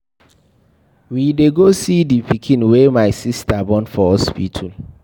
We dey go see the pikin wey my sister born for hospital.